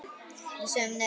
Við sögðum nei!